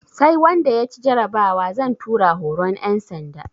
Sai wanda ya ci jarabawa zan tura horon ƴan sanda